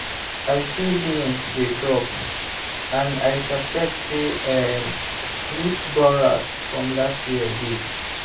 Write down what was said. i see beans dey drop and i suspect say um root borers from last year dey.